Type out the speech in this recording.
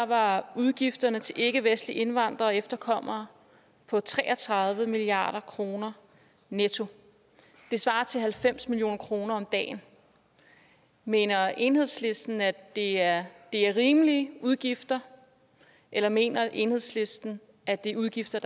var udgifterne til ikkevestlige indvandrere og efterkommere på tre og tredive milliard kroner netto det svarer til halvfems million kroner om dagen mener enhedslisten at det er er rimelige udgifter eller mener enhedslisten at det er udgifter